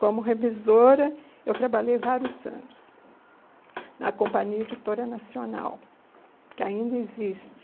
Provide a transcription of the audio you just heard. Como revisora, eu trabalhei vários anos na Companhia Editora Nacional, que ainda existe.